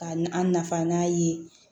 Ka an nafa n'a ye